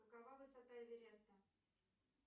какова высота эвереста